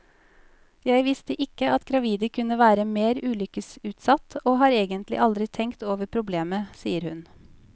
Jeg visste ikke at gravide kunne være mer ulykkesutsatt, og har egentlig aldri tenkt over problemet, sier hun.